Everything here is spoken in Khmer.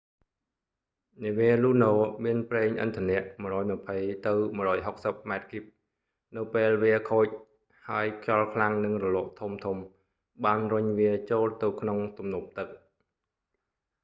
នាវា luno មានប្រេងឥន្ធនៈ 120-160 ម៉ែត្រគូប នៅពេលវាខូច ហើយខ្យល់ខ្លាំងនិងរលកធំៗ បានរុញវាចូលទៅក្នុងទំនប់ទឹក